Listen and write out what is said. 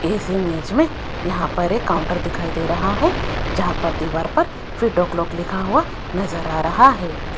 इस इमेज में यहां पर एक काउंटर दिखाई दे रहा है जहां पर दीवार पर फिट ओ क्लाक लिखा हुआ नजर आ रहा है।